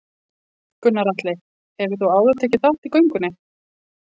Gunnar Atli: Hefur þú áður tekið þátt í göngunni?